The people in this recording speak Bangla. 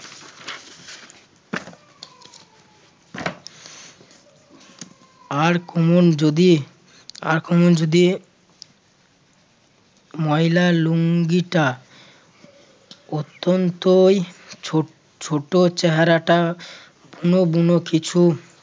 আর কোনো যদি আর কোনো যদি ময়লা লুঙ্গিটা অত্যন্তই ছোট ছোট চেহারাটা বুনু বুনু কিছু